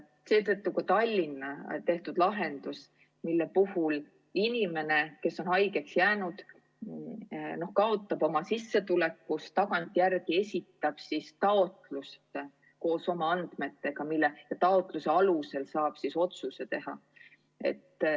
Seetõttu on Tallinn valinud lahenduse, et kui inimene on haigeks jäänud ja kaotab osa oma sissetulekust, siis ta tagantjärele esitab taotluse koos oma andmetega, mille alusel saab siis otsuse teha.